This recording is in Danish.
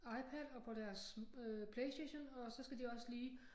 iPad og på deres øh PlayStation og så skal de også lige